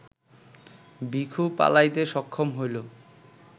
ভিখু পালাইতে সক্ষম হইল